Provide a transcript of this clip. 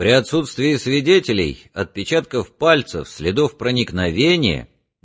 при отсутствии свидетелей отпечатков пальцев следов проникновения